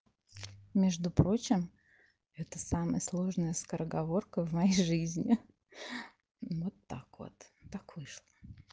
между прочим это самая сложная скороговорка в моей жизни вот так вот так вышло